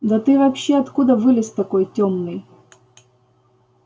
да ты вообще откуда вылез такой тёмный